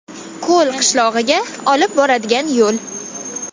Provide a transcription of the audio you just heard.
Ko‘l qishlog‘iga olib boradigan yo‘l.